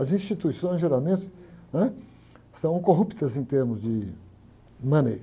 As instituições geralmente, ãh, são corruptas em termos de money.